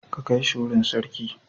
Ka kai shi wurin sarki.